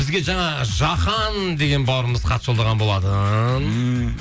бізге жаңа жахан деген бауырымыз хат жолдаған болатын ммм